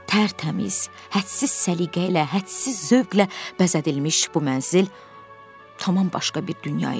Tər-təmiz, hədsiz səliqə ilə, hədsiz zövqlə bəzədilmiş bu mənzil tamam başqa bir dünya idi.